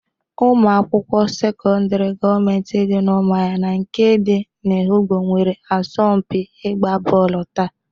Ụmụ akwụkwọ sekọndrị gọmenti dị n'Ụmụahịa na nke dị n'Ehụgbọ nwere asọmpi ịgba bọọlụ taa.